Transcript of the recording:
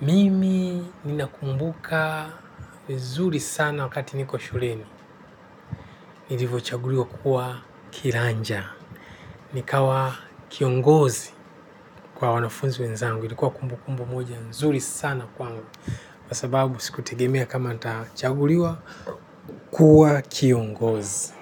mimi ninakumbuka vizuri sana wakati niko shuleni. Nilivyoo chaguliwa kuwa kiranja. Nikawa kiongozi kwa wanafunzi wezangu ilikuwa kumbu kumbu moja. Nzuri sana kwangu. Kwasababu siku tegemea kama nita chaguliwa kuwa kiongozi.